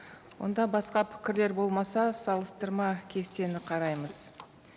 онда басқа пікірлер болмаса салыстырма кестені қараймыз